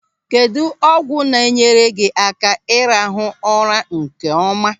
Kedụ ọgwụ na-enyere gị aka ị rahụ ụra nkeọma?